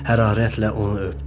Hərarətlə onu öpdü.